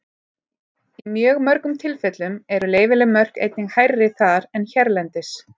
Í mjög mörgum tilfellum eru leyfileg mörk einnig hærri þar en hérlendis.